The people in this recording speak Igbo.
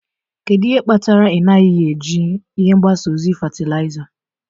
Kedu ihe kpatara na ị naghị eji ihe mgbasa ozi fatịlaịza?